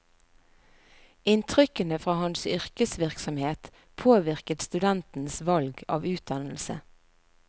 Inntrykkene fra hans yrkesvirksomhet påvirket studentens valg av utdannelse.